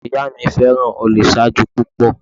Ọkọ ìyá mi fẹ́ràn ojúsàájú púpọ̀